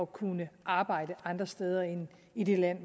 kunne arbejde andre steder end i det land